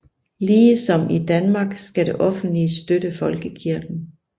Ligesom i Danmark skal det offentlige støtte folkekirken